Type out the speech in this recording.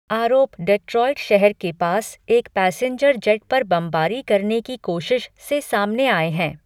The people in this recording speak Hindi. आरोप डेट्रॉइट शहर के पास एक पैसेंजर जेट पर बमबारी करने की कोशिश से सामने आए हैं।